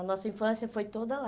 A nossa infância foi toda lá.